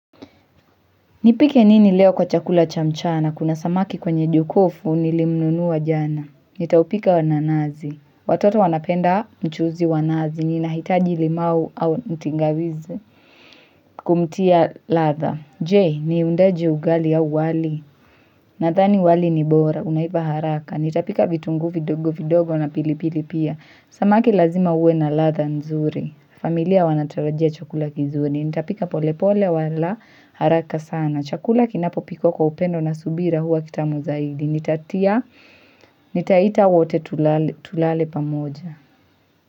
Nipike nini leo kwa chakula cha mchana? Kuna samaki kwenye jokofu nilimnunua jana. Nitaupika wa nanazi. Watoto wanapenda mchuzi wa nazi. Ninahitaji limau au mtingawizi kumtia ladha. Je, ni undaji ugali au wali? Nadhani wali ni bora. Unaiva haraka. Nitapika vitunguu vidogo vidogo na pilipili pia. Samaki lazima uwe na ladha nzuri. Familia wanatarajia chakula kizuri. Nitaupika pole pole wala haraka sana. Chakula kinapopikwa kwa upendo na subira huwa kitamu zaidi. Nitatia, nitaita wote tulale pamoja.